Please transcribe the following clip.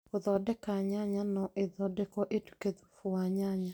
Gũthondeka, nyanya no ithondekwo ituĩke thubu wa nyanya